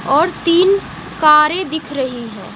और तीन कारें दिख रही हैं।